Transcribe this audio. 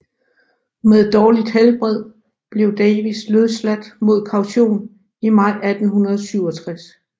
Med dårligt helbred blev Davis løsladt mod kaution i maj 1867